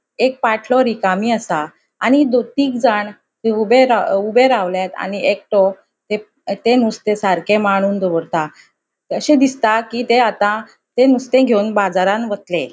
एक पाटलो रिकामी असा आणि दु तिगजाण थंय ऊबे ऊबे रावल्यात आणि एकटो ते ते नुस्ते सारके माणून दवरता अशे दिसता कि ते आता ते नुस्ते घेवन बाजारान वतले.